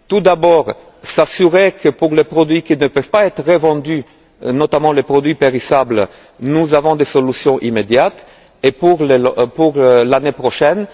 la suite. Tout d'abord, s'assurer que, pour les produits qui ne peuvent pas être revendus, notamment les produits périssables, nous avons des solutions immédiates. Et pour l'année prochaine,